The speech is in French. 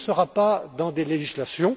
Tout ne sera pas dans des législations.